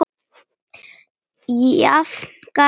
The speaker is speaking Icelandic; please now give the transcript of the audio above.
Jafnara gat það vart verið.